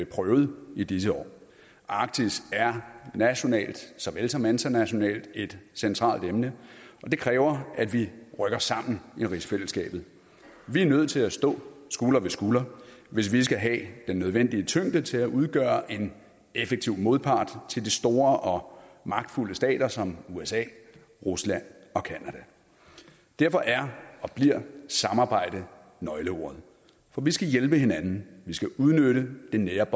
prøvet i disse år arktis er nationalt såvel som internationalt et centralt emne og det kræver at vi rykker sammen i rigsfællesskabet vi er nødt til at stå skulder ved skulder hvis vi skal have den nødvendige tyngde til at udgøre en effektiv modpart til de store og magtfulde stater som usa rusland og canada derfor er og bliver samarbejde nøgleordet for vi skal hjælpe hinanden vi skal udnytte det nære